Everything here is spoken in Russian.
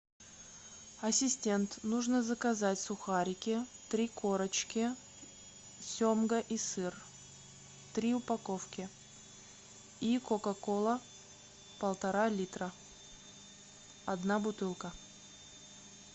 ассистент нужно заказать сухарики три корочки семга и сыр три упаковки и кока кола полтора литра одна бутылка